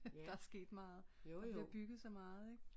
Der er sket meget der bliver bygget så meget ik